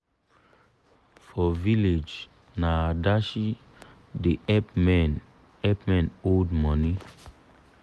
for village na adashi da help men help men hold money